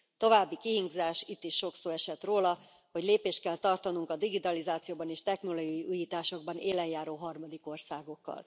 További kihívás itt is sok szó esett róla hogy lépést kell tartanunk a digitalizációban és technológiai újításokban élenjáró harmadik országokkal.